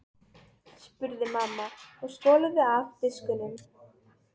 spurði mamma og skolaði af diskunum.